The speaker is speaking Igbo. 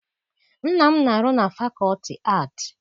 Nna m na-arụ na fakọlti aatị.